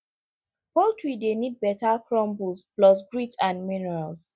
poultry dey need better crumble plus grit and minerals